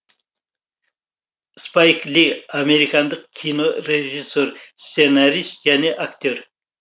спайк ли американдық кинорежиссер сценарист және актер